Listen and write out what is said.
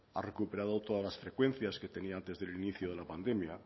ha recuperado todas las frecuencias que tenía antes del inicio de la pandemia